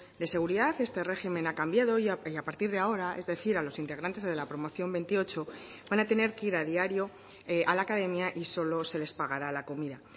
de seguridad este régimen ha cambiado y a partir de ahora es decir a los integrantes de la promoción veintiocho van a tener que ir a diario a la academia y solo se les pagará la comida